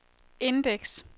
indeks